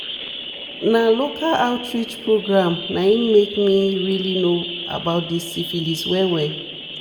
na local outreach program na im make me really know about this syphilis well well